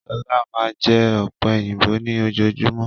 Shola máa n jẹ ọ̀pẹ̀yìnbo ni ojojúmọ́.